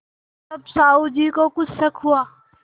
तब साहु जी को कुछ शक हुआ